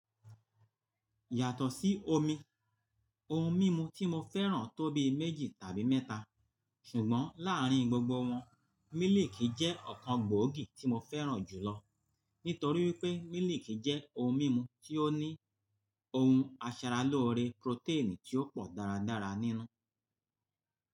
Yàtọ̀ sí omi, ohun mímu tí mo fẹ́ràn tóbi méjì tàbí mẹ́ta. Ṣùgbọ́n láàrin gbogbo wọn, mílìkì jẹ́ ọ̀kan gbòógì tí mo fẹ́ràn jùlọ nítorí pé mílìkì jẹ́ ohun mímu tí ó ní ohun aṣaralóore protein tí ó pọ̀ dáradára nínú.